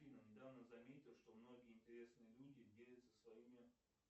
недавно заметил что многие интересные люди делятся своими